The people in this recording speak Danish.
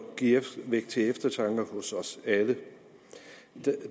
vække til eftertanke hos os alle